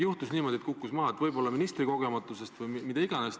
Juhtus niimoodi, et kukkus maha – võib-olla ministri kogenematusest või millest iganes.